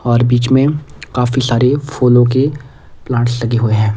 और बीच में काफी सारे फूलों के प्लांट्स लगे हुए हैं।